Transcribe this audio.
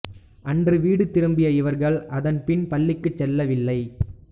அன்று வீடு திரும்பிய இவர்கள் அதன் பின் பள்ளிக்குச் செல்லவில்லை